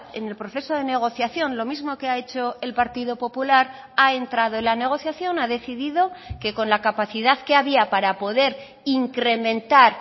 en el proceso de negociación lo mismo que ha hecho el partido popular ha entrado en la negociación ha decidido que con la capacidad que había para poder incrementar